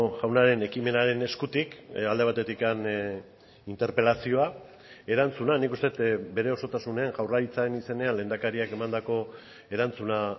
jaunaren ekimenaren eskutik alde batetik interpelazioa erantzuna nik uste dut bere osotasunean jaurlaritzaren izenean lehendakariak emandako erantzuna